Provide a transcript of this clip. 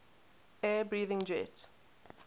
air breathing jet